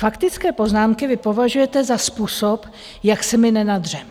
Faktické poznámky vy považujete za způsob, jak se my nenadřeme?